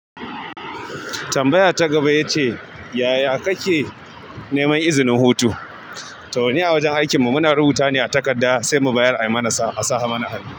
Tambaya ta gaba ya ce, yaya kake neman izinin hutu? Toh ni a wajen aikinmu muna rubutawa ne a takarda sai mu bayar ai mana sa a sa mana hannu.